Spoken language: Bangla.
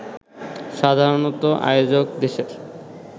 সাধারণত আয়োজক দেশের